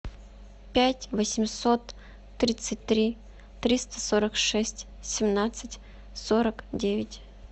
пять восемьсот тридцать три триста сорок шесть семнадцать сорок девять